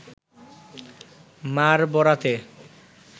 মার বরাতে